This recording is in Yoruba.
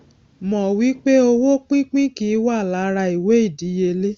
mọ wí pé owó pínpín kì í wà lára ìwé ìdíyelé